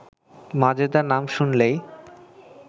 মাজেদা নাম শুনলেই